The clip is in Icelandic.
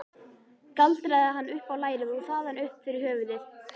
Galdraði hann upp á lærið og þaðan upp fyrir höfuðið.